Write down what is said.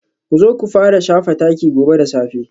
Ku zo ku fara shafa taki gobe da safe